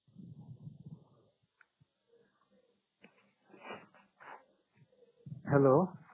hello